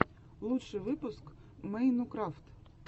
лучший выпуск мэйнукрафт